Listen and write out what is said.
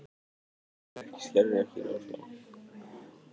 Skerðir ekki námslán